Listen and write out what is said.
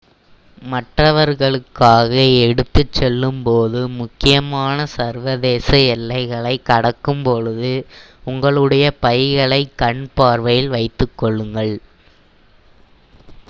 மற்றவர்களுக்காக எடுத்துச்செல்லும் போது முக்கியமாக சர்வதேச எல்லைகளை கடக்கும் பொழுது உங்களுடைய பைகளை கண் பார்வையில் வைத்துக் கொள்ளுங்கள்